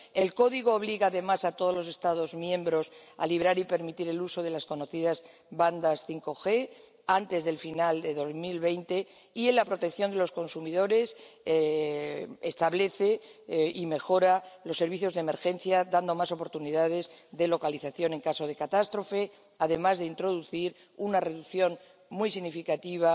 El Código obliga además a todos los Estados miembros a liberar y permitir el uso de las conocidas bandas 5G antes del final de 2020 y, en la protección de los consumidores, establece y mejora los servicios de emergencia, dando más oportunidades de localización en caso de catástrofe, además de introducir una reducción muy significativa